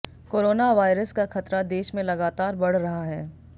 corona virus का खतरा देश में लगातार बढ़ रहा है